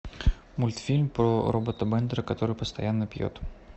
мультфильм про робота бендера который постоянно пьет